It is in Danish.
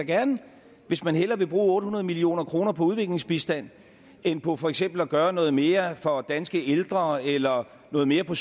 gerne hvis man hellere vil bruge otte hundrede million kroner på udviklingsbistand end på for eksempel at gøre noget mere for danske ældre eller noget mere på